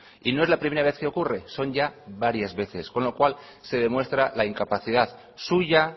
y no es la primera vez que ocurre son ya varias veces con lo cual se demuestra la incapacidad suya